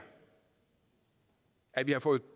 at vi har fået